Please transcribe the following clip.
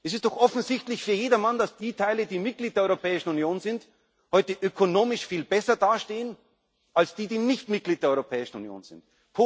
war. Es ist doch für jedermann offensichtlich, dass die Teile, die Mitglied der Europäischen Union sind, heute ökonomisch viel besser dastehen als die, die nicht Mitglied der Europäischen Union